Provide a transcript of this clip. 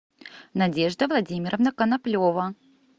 надежда владимировна коноплева